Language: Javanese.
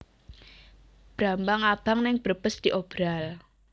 Brambang abang ning Brebes diobral